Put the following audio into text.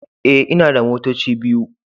E, ina da motoci biyu.